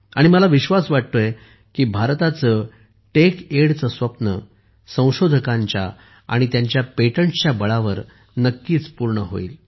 मला विश्वास वाटतो आहे की भारताचे तेचडे चे स्वप्न संशोधकांच्या आणि त्यांच्या पेटंटसच्या बळावर नक्कीच पूर्ण होईल